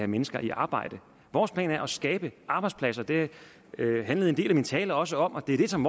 mennesker i arbejde vores plan er at skabe arbejdspladser det handlede en del af min tale også om og det er det som